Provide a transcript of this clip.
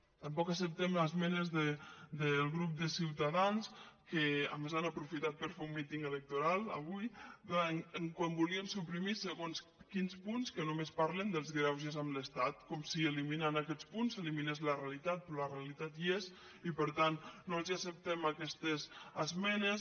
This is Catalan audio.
tampoc acceptem les esmenes del grup de ciutadans que a més han aprofitat per fer un míting electoral avui quan volien suprimir segons quins punts que no·més parlen dels greuges amb l’estat com si eliminant aquests punts s’eliminés la realitat però la realitat hi és i per tant no els acceptem aquestes esmenes